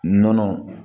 Nɔnɔ